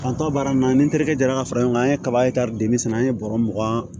An tɔ baara in na ni terikɛ ka fara ɲɔgɔn kan an ye kaba de sɛnɛ an ye bɔrɔ mugan